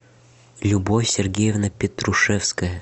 любовь сергеевна петрушевская